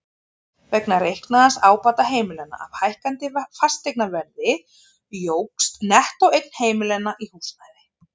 Vegna reiknaðs ábata heimilanna af hækkandi fasteignaverði jókst nettóeign heimilanna í húsnæði.